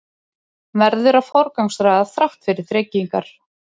Verður að forgangsraða þrátt fyrir þrengingar